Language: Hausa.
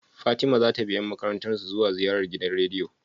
Fatima zata bi yan makarantar su zuwa ziyarar gidan rediyo?